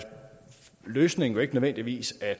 løsningen jo ikke nødvendigvis at